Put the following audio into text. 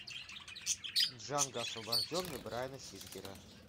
джанго освобожденный брайана сингера